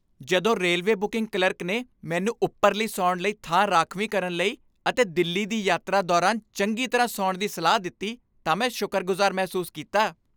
ਜਦੋਂ railway booking clerk ਨੇ ਮੈਨੂੰ ਉਪਰਲੀ ਸੌਣ ਲਈ ਥਾਂ ਰਾਖਵੀਂ ਕਰਨ ਲਈ ਅਤੇ ਦਿੱਲੀ ਦੀ ਯਾਤਰਾ ਦੌਰਾਨ ਚੰਗੀ ਤਰ੍ਹਾਂ ਸੌਣ ਦੀ ਸਲਾਹ ਦਿੱਤੀ ਤਾਂ ਮੈਂ ਸ਼ੁਕਰਗੁਜ਼ਾਰ ਮਹਿਸੂਸ ਕੀਤਾ।